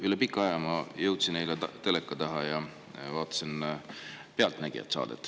Üle pika aja ma jõudsin eile teleka taha ja vaatasin saadet "Pealtnägija".